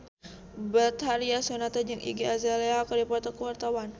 Betharia Sonata jeung Iggy Azalea keur dipoto ku wartawan